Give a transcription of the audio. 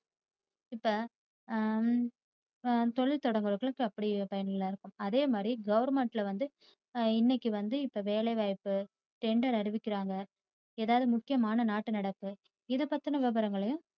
இப்ப தொழில் தொடங்குறவங்களுக்கு அப்படி பயனுள்ளதா இருக்கு. அதே மாதிரி goverment ல் வந்து இன்னைக்கு வந்து இப்ப வேலைவாய்ப்பு, tender அறிவிக்கிறாங்க, ஏதாவது முக்கியமான நாட்டு நடப்பு இது பத்தின விவரங்களையும்